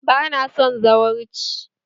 Bana son zawarci!